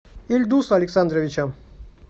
ильдуса александровича